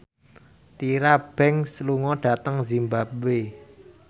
Tyra Banks lunga dhateng zimbabwe